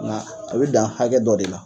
Nga a be dan hakɛ dɔ de la.